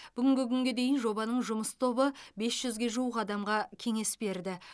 бүгінгі күнге дейін жобаның жұмыс тобы бес жүзге жуық адамға кеңес берді